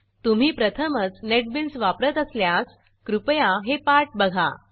तुम्ही प्रथमच नेटबीन्स वापरत असल्यास कृपया हे पाठ बघा